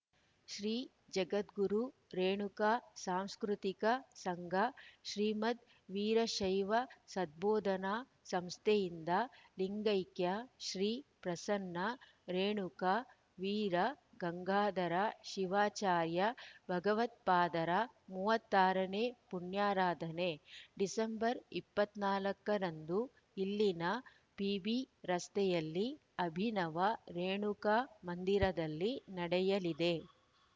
ಶ್ರೀ ಜಗದ್ಗುರು ರೇಣುಕಾ ಸಾಂಸ್ಕೃತಿಕ ಸಂಘ ಶ್ರೀಮದ್‌ ವೀರಶೈವ ಸದ್ಭೋದನಾ ಸಂಸ್ಥೆಯಿಂದ ಲಿಂಗೈಕ್ಯ ಶ್ರೀ ಪ್ರಸನ್ನ ರೇಣುಕ ವೀರ ಗಂಗಾಧರ ಶಿವಾಚಾರ್ಯ ಭಗವತ್ಪಾದರ ಮೂವತ್ತ್ ಆರ ನೇ ಪುಣ್ಯಾರಾಧನೆ ಡಿಸೆಂಬರ್ ಇಪ್ಪತ್ತ್ ನಾಲ್ಕ ರಂದು ಇಲ್ಲಿನ ಪಿಬಿ ರಸ್ತೆಯ ಅಭಿನವ ರೇಣುಕಾ ಮಂದಿರದಲ್ಲಿ ನಡೆಯಲಿದೆ